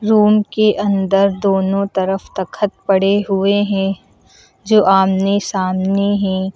Room के अंदर दोनों तरफ तखत पड़े हुए हैं जो आमने सामने हैं।